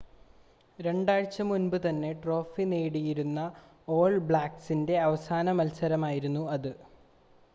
രണ്ടാഴ്ച്ച മുൻപ് തന്നെ ട്രോഫി നേടിയിരുന്ന ഓൾ ബ്ലാക്ക്‌സിൻ്റെ അവസാന മത്സരമായിരുന്നു അത്